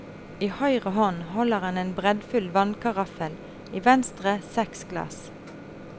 I høyre hånd holder han en breddfull vannkaraffel, i venstre seks glass.